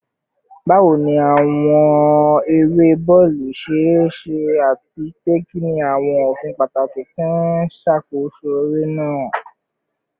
Bawo ni awọn ere bọọlu ṣe ṣe, ati pe kini awọn ofin pataki ti n ṣakoso ere naa?